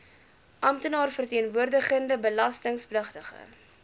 amptenaar verteenwoordigende belastingpligtige